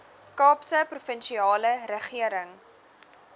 kaapse provinsiale regering